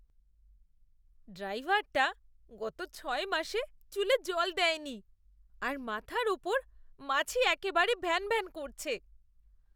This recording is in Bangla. ড্রাইভারটা গত ছয় মাস চুলে জল দেয়নি আর মাথার ওপর মাছি একেবেরে ভ্যানভ্যান করছে।